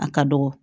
A ka dɔgɔ